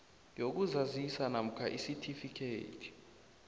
yokuzazisa namkha isitifikhethi